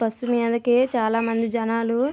bus మీదకి చాలా మంది జనాలు --